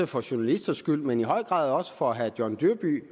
for journalisters skyld men i høj grad også for herre john dyrby